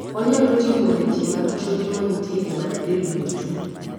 onyalo ting'o leche mag choke manitie e bath del duto